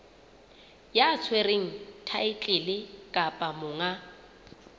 ya tshwereng thaetlele kapa monga